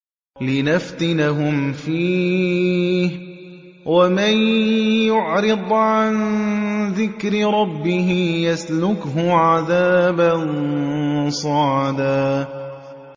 لِّنَفْتِنَهُمْ فِيهِ ۚ وَمَن يُعْرِضْ عَن ذِكْرِ رَبِّهِ يَسْلُكْهُ عَذَابًا صَعَدًا